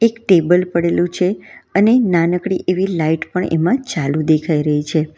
એક ટેબલ પડેલું છે અને નાનકડી એવી લાઈટ પણ એમાં ચાલુ દેખાઈ રહી છે.